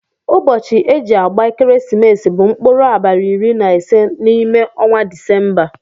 Ụbosi eji agba ekeresimesi bu nkpụrụ abali iri na ise na ime ọnwa disemba.